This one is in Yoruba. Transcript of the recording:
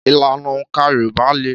Ìlànà òǹkà Yorùbá le.